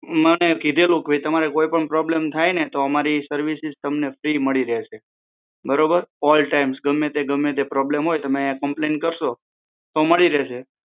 મને કીધેલું કે તમારે કોઈ પણ પ્રોબ્લમ થાય ને તો અમારી સેર્વીસીસ તમને ફ્રિ મળી રહેશે બરોબર ઓલટાઈમ ગમે તે ગમે ત્યારે પ્રોબ્લેમ થાય ને તો